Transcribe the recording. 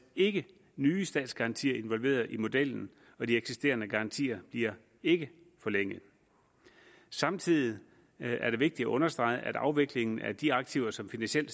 ikke nye statsgarantier involveret i modellen og de eksisterende garantier bliver ikke forlænget samtidig er det vigtigt at understrege at afviklingen af de aktiver som finansiel